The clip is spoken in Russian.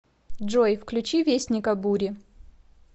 джой включи вестника бури